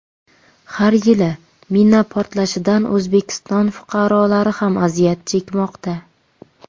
Har yili mina portlashidan O‘zbekiston fuqarolari ham aziyat chekmoqda.